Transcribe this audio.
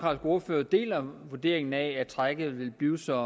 ordfører deler vurderingen af at trækket vil blive så